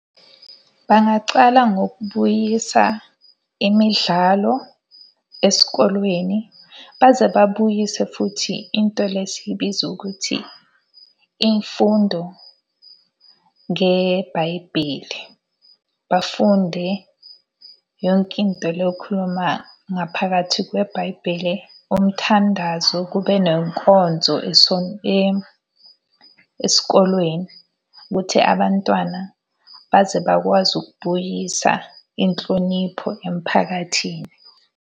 Bangaqala ngokubuyisa imidlalo esikolweni baze babuyise futhi into le esiyibiza ukuthi imfundo ngeBhayibheli. Bafunde yonke into le ekhuluma ngaphakathi kweBhayibheli, umthandazo kube nenkonzo esikolweni. Ukuthi abantwana baze bakwazi ukubuyisa inhlonipho emphakathini.